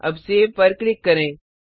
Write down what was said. अब सेव पर क्लिक करें